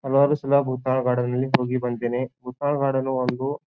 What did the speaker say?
ಹಲವಾರು ಸಲ ಬುತ್ತಾಳ ಗಾರ್ಡನ್ ನಲ್ಲಿ ಹೋಗಿ ಬಂದಿದ್ದೇನೆ ಬುತ್ತಾಳ ಗಾರ್ಡನ್ ಒಂದು.